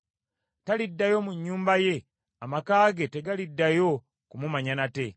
Taliddayo mu nnyumba ye, amaka ge tegaliddayo kumumanya nate.